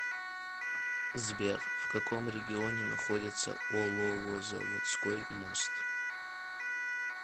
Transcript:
сбер в каком регионе находится оловозаводской мост